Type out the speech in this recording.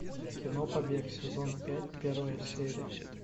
кино побег сезон пять первая серия